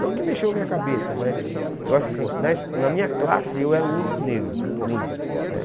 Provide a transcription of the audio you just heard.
Não que mexeu a minha cabeça, mas eu acho assim, na es na minha classe eu era o único negro, o único, né?